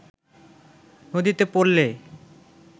নদীতে পড়লে